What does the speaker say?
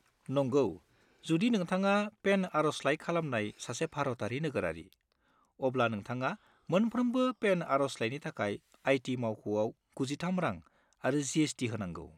नंगौ, जुदि नोंथाङा पेन आर'जलाइ खालामनाय सासे भारतारि नोगोरारि, अब्ला नोंथाङा मोनफ्रोमबो पेन आर'जलाइनि थाखाय आई.टि. मावख'आव 93 रां आरो जि.एस.टि. होनांगौ।